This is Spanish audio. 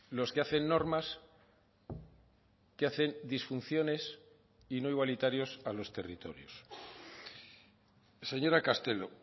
los que hacen normas que hacen disfunciones y no igualitarios a los territorios señora castelo